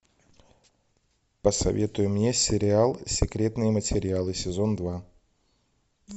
посоветуй мне сериал секретные материалы сезон два